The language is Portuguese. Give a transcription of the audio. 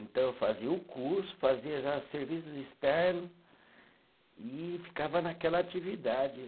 Então, eu fazia o curso, fazia já serviços externo e ficava naquela atividade.